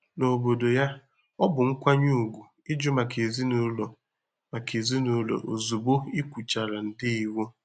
N'obodo ya, ọ bụ nkwanye ùgwù ịjụ maka ezinụlọ maka ezinụlọ ozugbo ị kwuchara ndewo.